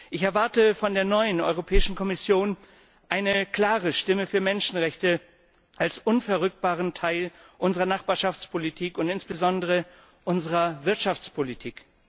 Ich erwarte von der neuen Europäischen Kommission eine klare Stimme für Menschenrechte als unverrückbaren Teil unserer Nachbarschaftspolitik und insbesondere unserer Wirtschaftspolitik.